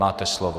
Máte slovo.